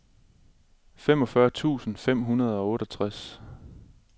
femogfyrre tusind fem hundrede og otteogtres